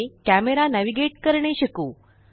मध्ये camera navigate करणे शिकू